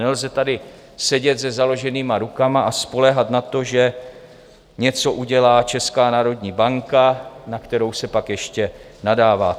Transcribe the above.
Nelze tady sedět se založenýma rukama a spoléhat na to, že něco udělá Česká národní banka, na kterou se pak ještě nadává.